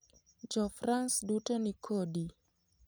Jofrans duto ni kodi.